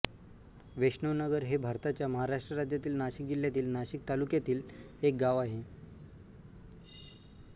वैष्णवनगर हे भारताच्या महाराष्ट्र राज्यातील नाशिक जिल्ह्यातील नाशिक तालुक्यातील एक गाव आहे